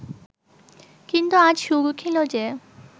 কিন্তু আজ সুর উঠিল যে